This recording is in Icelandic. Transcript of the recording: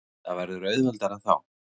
Það verður auðveldara þá.